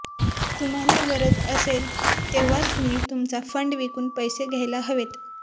तुम्हाला गरज असेल तेव्हाच तुम्ही तुमचा फंड विकून पैसे घ्यायला हवेत